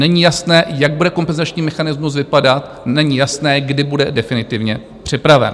Není jasné, jak bude kompenzační mechanismus vypadat, není jasné, kdy bude definitivně připraven.